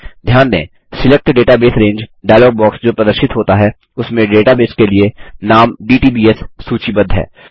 ध्यान दें select database range dialog box जो प्रदर्शित होता है उसमें डेटाबेस के लिए नाम डीटीबीएस सूचीबद्ध है